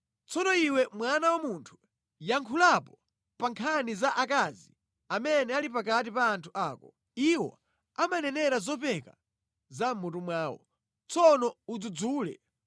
“Tsono iwe mwana wa munthu, yankhulapo pa nkhani za akazi amene ali pakati pa anthu ako. Iwo amanenera zopeka za mʼmutu mwawo. Tsono adzudzule.